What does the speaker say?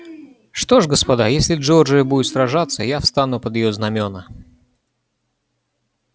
что ж господа если джорджия будет сражаться я встану под её знамёна